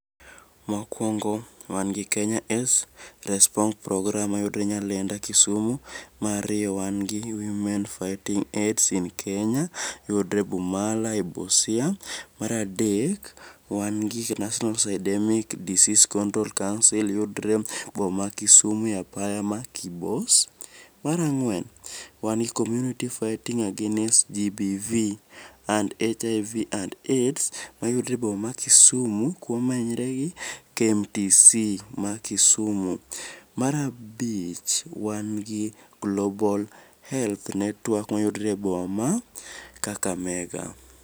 Mokuongo wan gi Kenya Aids Responce program mayudore nyalenda Kisumu, mar ariyo wan gi Women fighting Aids in Kenya yudore Bumala e Busia. Mar adek wan gi National Syndemic Disease Control Council yudore e boma ma Kisumu e apaya ma Kibos. Mar angwen wan gi communiy fighting against GBV and HIV Aids mayudore e boma ma kisumu komenyre gi KMTC ma Kisumu. Mar abich wan gi Global Health network mayudore e boma ma Kakamega